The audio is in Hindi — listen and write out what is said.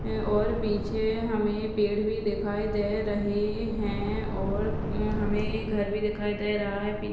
और पीछे हमें पेड़ भी दिखाई दे रहे है और हम्म हमें ये घर भी दिखाई दे रहा है पीछे--